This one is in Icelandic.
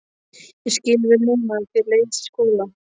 Ég skil vel núna að þér leiðist í skóla.